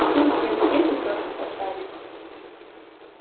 всем всем всем пятёрки поставлю